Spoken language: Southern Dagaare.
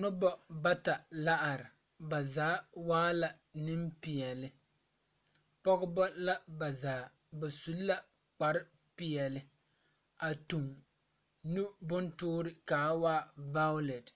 Nobɔ bata la are ba zaa waa la neŋpeɛɛle pɔgebɔ la bazaa ba su la kpare peɛɛle a tuŋ nu bontoore kaa waa vaaolɛt